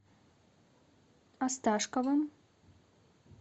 осташковым